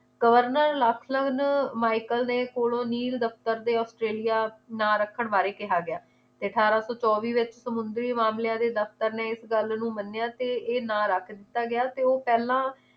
governor Lachlan Michael ਨੇ ਕੋਲੋਂ ਨੀਲ ਦਫਤਰ ਦੇ ਨਾ ਰੱਖਣ ਬਾਰੇ ਕਿਹਾ ਗਿਆ ਤੇ ਅਠਾਰਾਂ ਸੌ ਚੋਵੀ ਵਿਚ ਸਮੁੰਦਰੀ ਮਾਮਲਿਆਂ ਦੇ ਦਫਤਰ ਨੇ ਇਸ ਗੱਲ ਨੂੰ ਮੰਨਿਆ ਤੇ ਇਹ ਨਾਂ ਰੱਖ ਦਿੱਤਾ ਗਿਆ ਤੇ ਉਹ ਪਹਿਲਾਂ